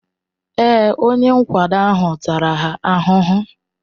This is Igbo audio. Èé, onye nkwado ahụ tara ha ahụhụ.